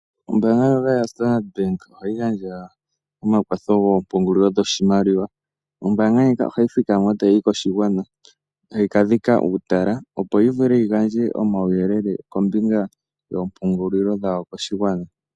Ombaanga ndjoka yaStandard Bank ohayi gandja omakwatho goompungulilo dhoshimaliwa. Ombaanga ndjika ohayi thikama e ta yi yi koshigwana, tayi ka dhika uutala, opo yi vule yi gandje omauyelele kombinga yoompungulilo dhawo koshigwana.